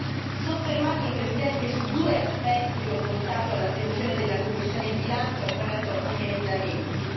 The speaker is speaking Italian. E vorrei soffermarmi, Presidente, su due aspetti che ho portato all'attenzione della commissione per i bilanci attraverso alcuni emendamenti.